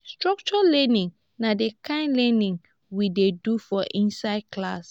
structured learning na di kind learning we dey do for inside class